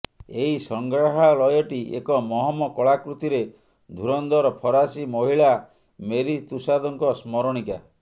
ଏହି ସଂଗ୍ରାହାଳୟଟି ଏକ ମହମ କଳାକୃତିରେ ଧୁରନ୍ଧର ଫରାସୀ ମହିଳା ମେରୀ ତୁଷାଦଙ୍କ ସ୍ମରଣିକା